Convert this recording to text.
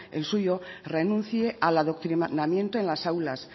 el suyo renuncie al adoctrinamiento en las aulas